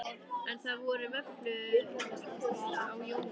En það voru vöflur á Jóni